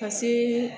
Ka se